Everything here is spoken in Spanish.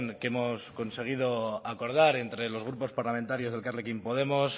que hemos conseguido acordar entre los grupos parlamentarios de elkarrekin podemos